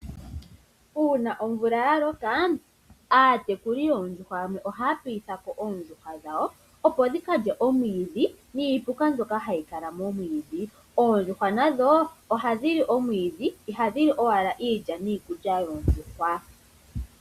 Uuna omvula ya loka, aatekuli yoondjuhwa yamwe ohaya piitha ko oondjuhwa dhawo opo dhi ka lye omwiidhi niipuka mbyoka hayi kala momwiidhi. Oondjuhwa nadho ohadhi li omwiidhi ihadhi li owala iilya niikulya yoondjuhwa.